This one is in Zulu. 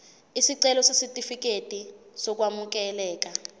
isicelo sesitifikedi sokwamukeleka